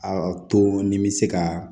A to ni bɛ se ka